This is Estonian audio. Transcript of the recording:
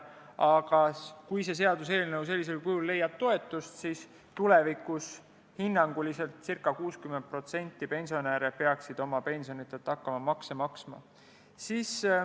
Aga kui see seaduseelnõu sellisel kujul toetust leiab, siis tulevikus peaks hinnanguliselt ca 60% pensionäridest oma pensionilt hakkama makse maksma.